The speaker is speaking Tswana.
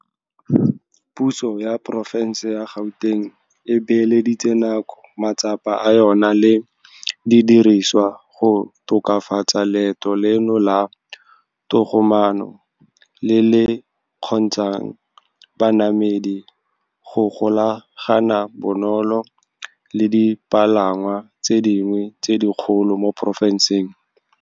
Puso ya Porofense ya Gauteng e beeleditse nako, matsapa a yona le didirisiwa go tokafatsa leeto leno la togomaano le le kgontsha ng banamedi go golagana bonolo le dipalangwa tse dingwe tse dikgolo mo porofenseng.